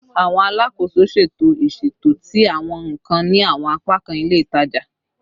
Awọn alakoso ṣeto iṣeto ti awọn nkan ni awọn apakan ile itaja